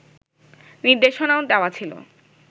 নির্দেশনাও দেওয়া ছিল